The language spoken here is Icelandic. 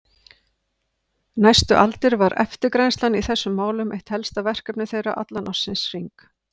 Næstu aldir var eftirgrennslan í þessum málum eitt helsta verkefni þeirra allan ársins hring.